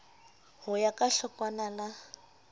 ho ya ka hlokwana la